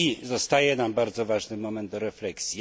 Zostaje nam bardzo ważny moment do refleksji.